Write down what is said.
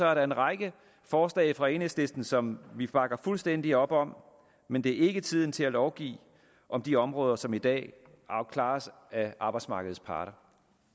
er der en række forslag fra enhedslisten som vi bakker fuldstændig op om men det er ikke tiden til at lovgive om de områder som i dag klares af arbejdsmarkedets parter